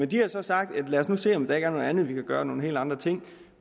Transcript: de har så sagt lad os nu se om der ikke er noget andet vi kan gøre nogle helt andre ting